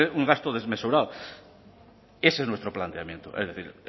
un gasto desmesurado ese es nuestro planteamiento es decir